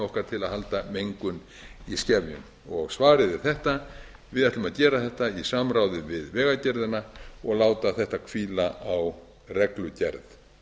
okkar til að halda mengun í skefjum svarið er þetta við ætlum að gera þetta í samráði við vegagerðina og láta þetta hvíla á reglugerð